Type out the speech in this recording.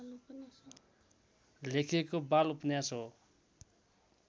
लेखिएको बालउपन्यास हो।